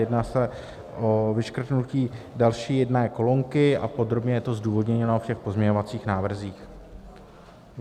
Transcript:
Jedná se o vyškrtnutí další jedné kolonky a podrobně je to zdůvodněno v těch pozměňovacích návrzích.